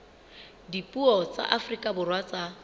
dipuo tsa afrika borwa tsa